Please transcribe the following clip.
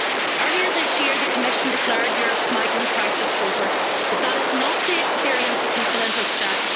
Earlier this year, the Commission declared Europe's migrant crisis over, but that is not the experience of people in Vucjak.